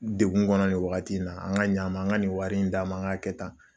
Degun kɔnɔ nin wagati in na, an ka ɲa a ma, an ka nin wari in d'a ma, an k'a kɛ tan.